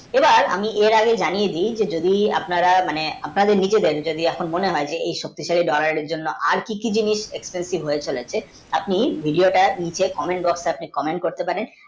এবার আমি জানিয়ে দি আপনার নিজেদের মনে হয় যদি ধরার জন্যে আর কিছু জিনিস expensive হয়ে চলেছে আপনি video তার নিচে comment box আছে comment করতে পারেন